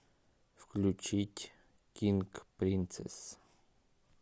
включить кинг принцесс